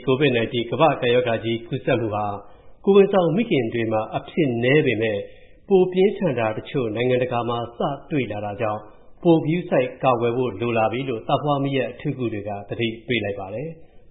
COVID-19 ကမ္ဘာ့ကပ်ရောဂါကြီး ကူးစက်မူဟာ ကိုယ်ဝန်ဆောင်မိခင်တွေမှာ အဖြစ်နည်းပေမယ့်၊ ပိုပြင်းထန်တာတချို့ နိုင်ငံတကာမှာ စတွေ့လာတာကြောင့်၊ ပိုဂရုစိုက်ကာကွယ်ဖို့ လိုလာပြီလို့ သားဖွားမီးယပ်အထူးကုတွေက သတိပေးလိုက်ပါတယ်။